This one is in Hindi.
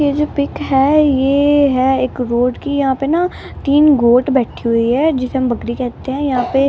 ये जो पिक है ये है एक रोड की यहाँ पे ना तीन गोट बैठी हुई है जिसे हम बकरी कहते हैं यहाँ पे --